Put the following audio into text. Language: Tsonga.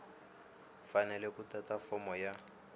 fanele ku tata fomo ya